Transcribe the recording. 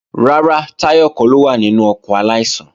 Rárá, Táyọ̀ kọ́ ló wà nínú ọkọ̀ aláìsàn